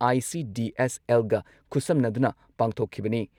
ICDS ꯑꯦꯜꯒ ꯈꯨꯠꯁꯝꯅꯗꯨꯅ ꯄꯥꯡꯊꯣꯛꯈꯤꯕꯅꯤ